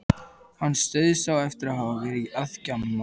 Hann dauðsá eftir að hafa verið að gjamma.